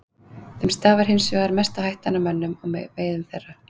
Þeim stafar hins vegar mesta hættan af mönnum og veiðum þeirra.